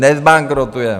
Nezbankrotujeme.